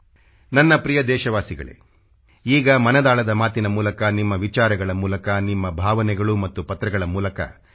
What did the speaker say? ನನ್ನ ಪ್ರಿಯ ದೇಶವಾಸಿಗಳೇ ಈಗ ಮನದಾಳದ ಮಾತಿನ ಮೂಲಕ ನಿಮ್ಮ ವಿಚಾರಗಳ ಮೂಲಕ ನಿಮ್ಮ ಭಾವನೆಗಳು ಮತ್ತು ಪತ್ರಗಳ ಮೂಲಕ mygov